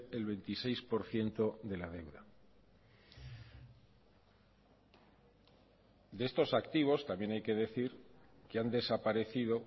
el veintiséis por ciento de la deuda de estos activos también hay que decir que han desaparecido